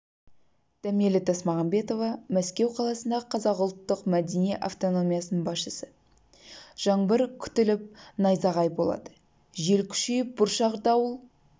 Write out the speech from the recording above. дәмелі тасмағамбетова мәскеу қаласындағы қазақ ұлттық-мәдени автономиясының басшысы жаңбыр күтіліп найзағай болады жел күшейіп бұршақ дауыл